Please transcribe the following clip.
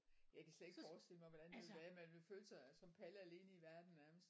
Jeg kan slet ikke forestille mig hvordan det ville være man ville føle sig som Palle alene i verden nærmest